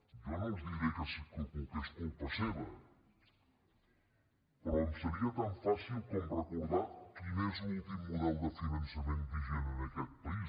jo no els diré que és culpa seva però em seria tan fàcil com recordar quin és l’últim model de finançament vigent en aquest país